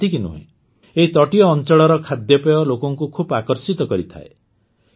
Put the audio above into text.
କେବଳ ସେତିକି ନୁହେଁ ଏହି ତଟୀୟ ଅଂଚଳର ଖାଦ୍ୟପେୟ ଲୋକଙ୍କୁ ଖୁବ୍ ଆକର୍ଷିତ କରିଥାଏ